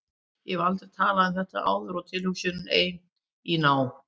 Ég hef aldrei talað um þetta áður og tilhugsunin ein, í ná